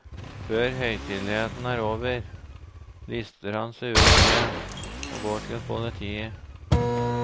Før høytideligheten er over, lister han seg ut igjen og går til politiet.